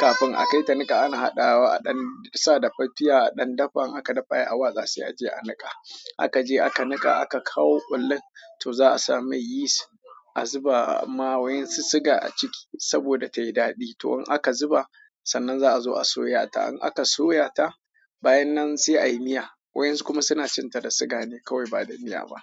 Kafin a kai ta niƙa ana haɗawa a ɗan sa da fartiya a ɗan dafan aka dafa ai hawa za su a je a niƙa. Aka je aka niƙa aka kawo ƙullun to za a sa mai yist, a zuba ma waensu siga a ciki saboda tayi daɗi. To in aka zuba sannan za a zo a soya ta. In aka soya ta bayan nan sai ayi miya. Waensu kuma suna cin ta da siga ne kawai ba da miya ba.